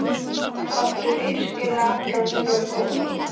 Áttu virkilega allan þennan hóp?